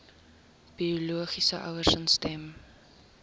biologiese ouers instem